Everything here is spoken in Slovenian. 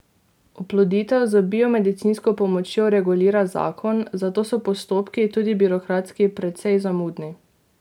Oploditev z biomedicinsko pomočjo regulira zakon, zato so postopki, tudi birokratski, precej zamudni.